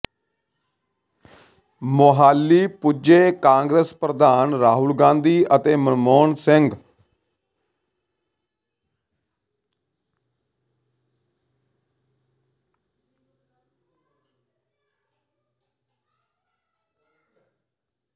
ਮੋਹਾਲੀ ਪੁੱਜੇ ਕਾਂਗਰਸ ਪ੍ਰਧਾਨ ਰਾਹੁਲ ਗਾਂਧੀ ਅਤੇ ਮਨਮੋਹਨ ਸਿੰਘ